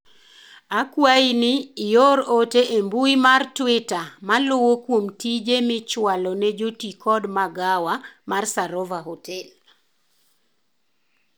akwayi ni ior ote e mbui mar twita maluwo kuom tije michwalo ne joti kod magawa mar sarova hotel